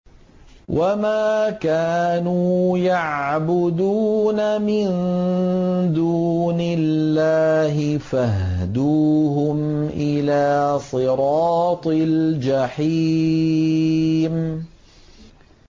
مِن دُونِ اللَّهِ فَاهْدُوهُمْ إِلَىٰ صِرَاطِ الْجَحِيمِ